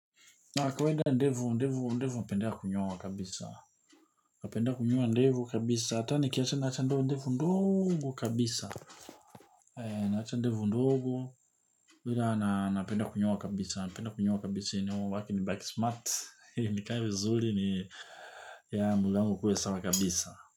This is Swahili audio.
Na kwenda ndevu ndevu ndevu napendea kunyoa kabisa napenda kunyoa ndevu kabisa hata nikiacha naacha ndevu ndogo kabisa naacha ndevu ndogo vile napenda kunyoa kabisa napenda kunyoa kabisa ili nibaki smart. Nikae vizuri ni ya mwili wangu ukuwe sawa kabisa.